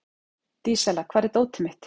Dísella, hvar er dótið mitt?